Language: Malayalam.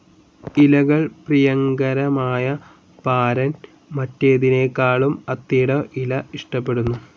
ഇലകൾ പ്രിയങ്കരമായ പാരൻ മറ്റേതിനെക്കാളും അത്തിയുടെ ഇല ഇഷ്ടപ്പെടുന്നു.